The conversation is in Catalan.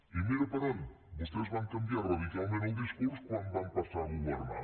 i mira per on vostès van canviar radicalment el discurs quan van passar a governar